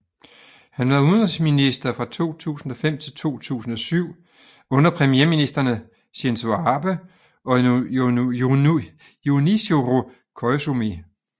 Han var udenrigsminister fra 2005 til 2007 under premierministrene Shinzo Abe og Junichiro Koizumi